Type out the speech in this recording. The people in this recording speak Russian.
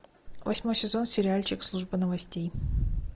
восьмой сезон сериальчик служба новостей